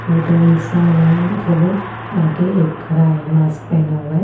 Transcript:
और दो इंसान है मतलब आगे एक खड़ा है मास्क पहना हुआ।